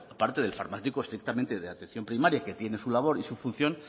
aparte del farmacéutico estrictamente de atención primaria que tiene su labor y su función